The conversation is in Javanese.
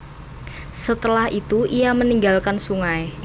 Setelah itu ia meninggalkan sungai